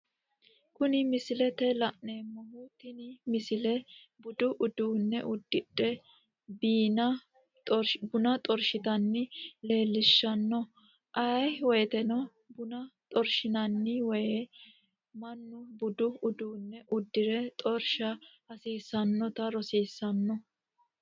Kuni misilete la'neemohu, tini misile budu uduine udidhe bina xorishitanna leelishanno, ayee woyiteno buna xarishinanni woyide manu budu uduune udire xorisha hasisanotta rosisano